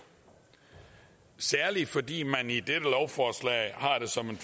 særligt fordi man i dette lovforslag har det som